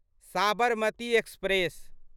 Sabarmati express